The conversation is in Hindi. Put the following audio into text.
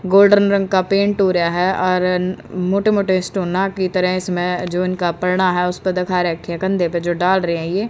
गोल्डन रंग का पेंट हो रहा है और मोटे-मोटे स्टोना की तरह इसमें जो इनका पलड़ा है उस पर देखा रहा है कंधे पे जो डाल रहे हैं ये --